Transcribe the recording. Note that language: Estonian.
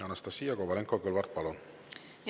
Anastassia Kovalenko-Kõlvart, palun!